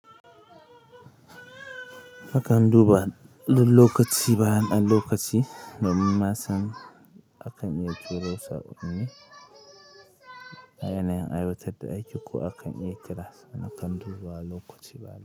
Na kan duba lokaci bayan ɗan lokaci---. A yanayin aiwatar da aiki ko akan iya kiras, ana kan duba lokaci bayan.